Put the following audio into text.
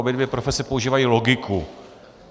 Obě dvě profese používají logiku.